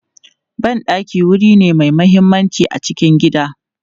Ban ɗaki wuri ne mai mahimmanci a cikin gida.